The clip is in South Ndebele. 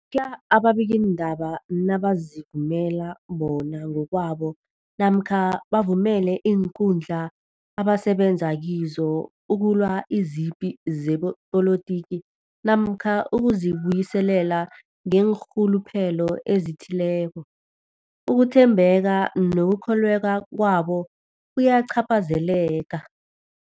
khuya ababikiindaba nabazivumela bona ngokwabo namkha bavumele iinkundla abasebenza kizo ukulwa izipi zepolitiki namkha ukuzi buyiselela ngeenrhuluphelo ezithileko, ukuthembeka nokukholweka kwabo kuyacaphazeleka.